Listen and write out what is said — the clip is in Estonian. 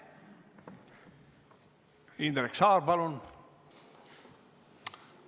Indrek Saar, palun!